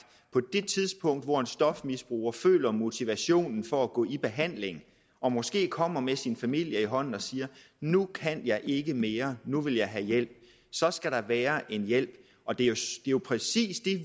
på det tidspunkt hvor en stofmisbruger føler motivationen for at gå i behandling og måske kommer med sin familie i hånden og siger nu kan jeg ikke mere nu vil jeg have hjælp så skal der være en hjælp og det er jo præcis